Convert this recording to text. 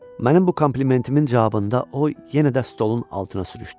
Mənim bu komplimentimin cavabında o yenə də stolun altına sürüxdü.